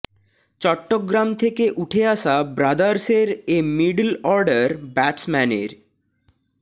চট্টগ্রাম থেকে উঠে আসা ব্রাদার্সের এ মিডল অর্ডার ব্যাটসম্যানের